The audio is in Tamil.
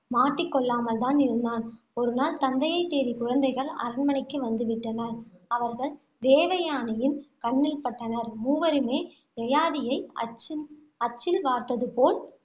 மாட்டிக் கொள்ளாமல் தான் இருந்தான். ஒருநாள் தந்தையைத் தேடி குழந்தைகள் அரண்மனைக்கு வந்து விட்டனர். அவர்கள் தேவயானையின் கண்ணில் பட்டனர். மூவருமே, யயாதியை அச்சின் அச்சில் வார்த்தது போல்